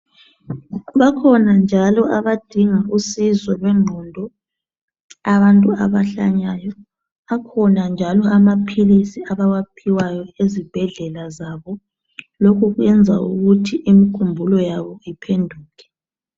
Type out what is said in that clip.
Bakhona njalo abadinga usizo lwengqondo abantu abahlanyayo, akhona njalo amaphilisi abawaphiwayo ezibhedlela zabo lokhu kwenza ukuthi imikhumbulo yabo iphenduke.